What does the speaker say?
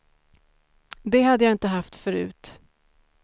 Det hade jag inte haft förut.